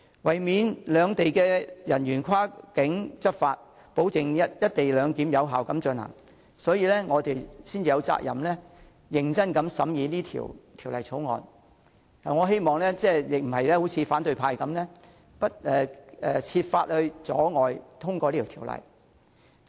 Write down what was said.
為免兩地人員跨境執法，保證"一地兩檢"有效進行，我們有責任認真審議《條例草案》，我不希望反對派設法阻礙通過《條例草案》。